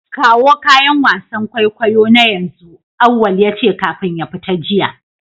Kawo kayan wasan kwaikwayo na yanzu! auwal yace kafin ya fita jiya.